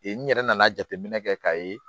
Ee n yɛrɛ nana jateminɛ kɛ k'a ye